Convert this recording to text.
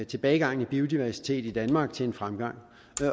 tilbagegangen i biodiversitet i danmark til en fremgang